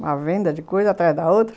Uma venda de coisa atrás da outra.